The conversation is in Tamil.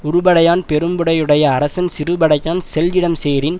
உறுபடையான் பெரும்படையுடைய அரசன் சிறுபடையான் செல் இடம் சேரின்